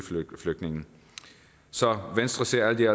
flygtninge så venstre ser alt i